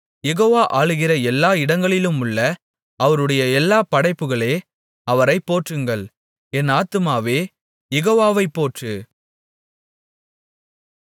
யெகோவா ஆளுகிற எல்லா இடங்களிலுமுள்ள அவருடைய எல்லா படைப்புகளே அவரைப் போற்றுங்கள் என் ஆத்துமாவே யெகோவாவைப் போற்று